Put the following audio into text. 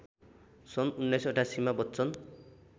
सन् १९८८ मा बच्चन